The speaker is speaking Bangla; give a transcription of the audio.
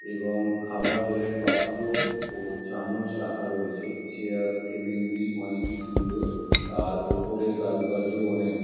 এবং খাবার জলের পাত্র ও চামচ রাখা রয়েছে। চেয়ার টেবিল গুলি অনেকই সুন্দরই আর ওপরের কারুকার্যয় অনেক ভা--